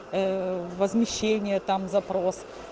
э возмещение там запрос